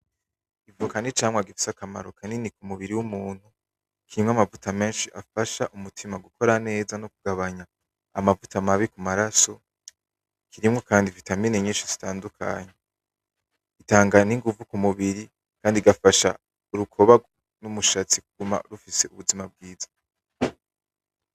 Ivoka nicamwa gifise akamaro kanini kumubiri w'umuntu gifasha umutima gukora neza no kugabanya amavuta mabi mumaraso kirimwo kandi na vitamine nyinshi zitandukanye, zitanga n'inguvu mumubiri kandi igafasha urukoba numushatsi kuguma ifise ubuzima bwiza.